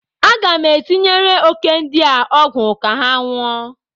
Aga m etinyere òké ndi a ọgwụ ka ha nwụọ.